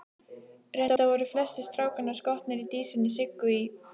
Reyndar voru flestir strákanna skotnir í dísinni Siggu í